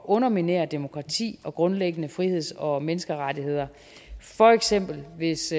underminere demokratiet og grundlæggende friheds og menneskerettigheder for eksempel hvis